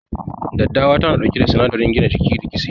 Daddawa tana ɗauke da sinadarin gina jiki da kitse.